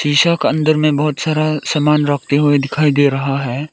अंदर में बहुत सारा सामान रखे हुए दिखाई दे रहा है।